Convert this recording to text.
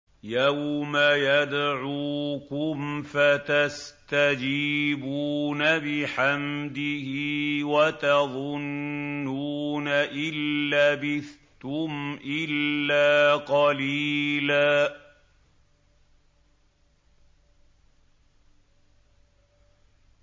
يَوْمَ يَدْعُوكُمْ فَتَسْتَجِيبُونَ بِحَمْدِهِ وَتَظُنُّونَ إِن لَّبِثْتُمْ إِلَّا قَلِيلًا